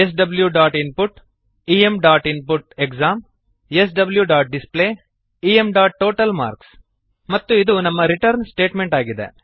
swinput eminput exam swdisplay emtotal marks ಮತ್ತು ಇದು ನಮ್ಮ ರಿಟರ್ನ್ ಸ್ಟೇಟಮೆಂಟ್ ಆಗಿದೆ